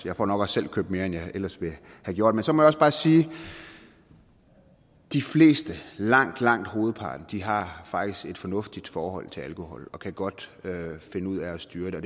jeg får nok også selv købt mere end jeg ellers ville have gjort men så må jeg også bare sige at de fleste langt langt hovedparten har faktisk et fornuftigt forhold til alkohol og kan godt finde ud af at styre det